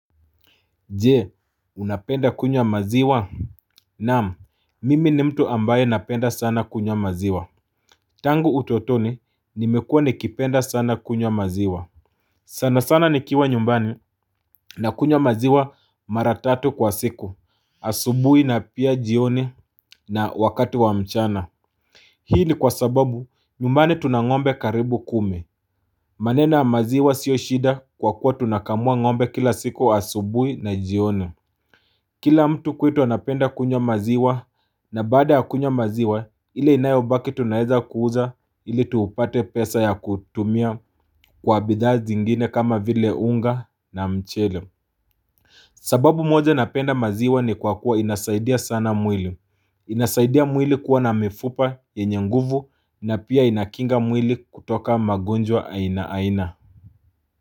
Jee unapenda kunywa maziwa? Naam mimi ni mtu ambaye napenda sana kunywa maziwa Tangu utotoni nimekua nikipenda sana kunywa maziwa sana sana nikiwa nyumbani nakunywa maziwa mara tatu kwa siku asubui na pia jioni na wakati wa mchana Hii ni kwa sababu nyumbani tuna ngombe karibu kume maneno ya maziwa sio shida kwa kuwa tunakamua ngombe kila siku asubui na jione Kila mtu kwetu anapenda kunywa maziwa na baada ya kunywa maziwa ile inayobaki tunaeza kuuza ili tupate pesa ya kutumia kwa bidhaa zingine kama vile unga na mchele. Sababu moja napenda maziwa ni kwa kuwa inasaidia sana mwili. Inasaidia mwili kuwa na mifupa yenye nguvu na pia inakinga mwili kutoka magunjwa aina aina.